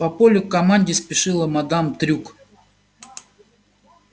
по полю к команде спешила мадам трюк